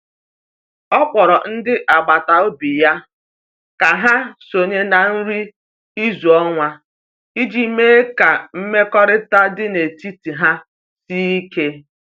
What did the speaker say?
O kpọrọ ndị agbata obi ya ka ha sonye na nri izu ọnwa iji mee ka mmekọrịta dị n’etiti ha sie ike.